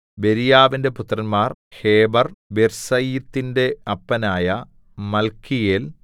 ബെരീയാവിന്റെ പുത്രന്മാർ ഹേബെർ ബിർസയീത്തിന്റെ അപ്പനായ മല്ക്കീയേൽ